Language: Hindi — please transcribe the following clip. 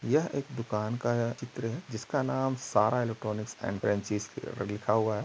यह एक दुकान का चित्र है जिसका नाम सारा इलेक्ट्रॉनिक लिखा हुआ है।